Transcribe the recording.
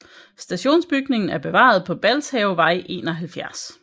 Stationsbygningen er bevaret på Balshavevej 71